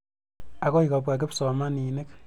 Akoi kopwa kipsomaninik.